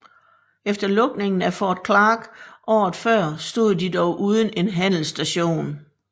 Efter lukningen af Fort Clark året før stod de dog uden en handelsstation